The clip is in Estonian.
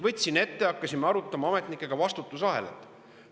Võtsin ette, hakkasime arutama ametnikega vastutusahelat.